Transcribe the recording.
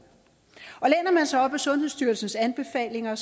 og sig op ad sundhedsstyrelsens anbefalinger